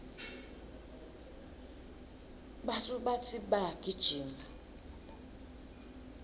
basubatsi bayagijima